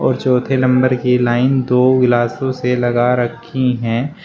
और चौथे नंबर की लाइन दो गिलासों से लगा रखी हैं।